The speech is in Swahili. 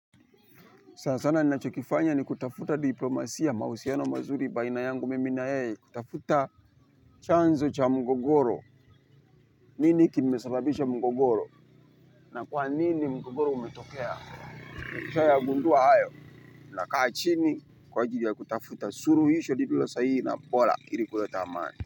Sana sana ninachokifanya ni kutafuta diplomasia mahusiano mazuri baina yangu mimi na yeye, kutafuta chanzo cha mgogoro. Nini kimesababisha mgogoro? Na kwa nini mgogoro umetokea? Nikisha yagundua hayo, nakaa chini kwa ajili ya kutafuta suluhisho lililo sahihi na bora ili kuleta amani.